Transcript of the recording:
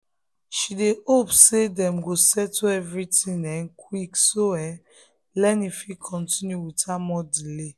she dey hope say dem go settle everything um quick so um learning fit continue without more delay. um